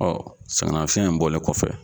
sɛgɛn nafiyɛn in bɔlen kɔfɛ